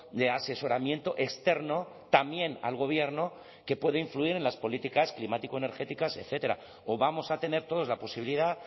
de asesoramiento externo también al gobierno que puede influir en las políticas climático energéticas etcétera o vamos a tener todos la posibilidad